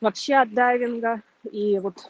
вообще от дайвинга и вот